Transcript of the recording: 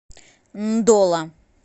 ндола